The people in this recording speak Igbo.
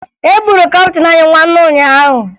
E gburu kaptịn anyị nwanne ụnyaahụ